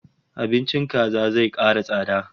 Abincin kaji zai kara tsada